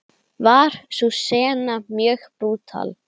Var sú sena mjög brútal.